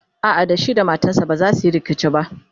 a'a da shi da matansa bazasu Yi rikici ba